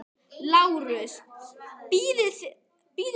LÁRUS: Bíðið aðeins.